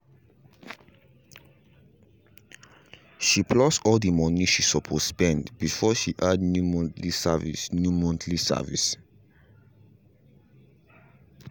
she plus all the money she supposed spend before she add new monthly service new monthly service